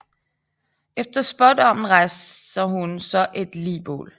Efter spådommen rejser hun så et ligbål